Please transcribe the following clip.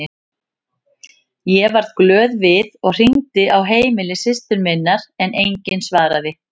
Ég varð glöð við og hringdi á heimili systur minnar en enginn svaraði.